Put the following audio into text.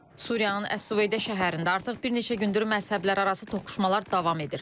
Suriyaın Əs-Süveydə şəhərində artıq bir neçə gündür məzhəblərarası toqquşmalar davam edir.